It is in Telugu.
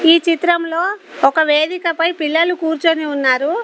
ఈ చిత్రంలో ఒక వేదికపై పిల్లలు కూర్చొని ఉన్నారు.